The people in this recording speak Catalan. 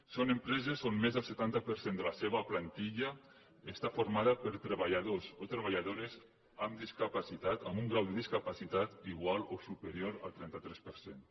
són empreses on més del setanta per cent de la seva plantilla està formada per treballadors o tre·balladores amb discapacitat amb un grau de discapa·citat igual o superior al trenta tres per cent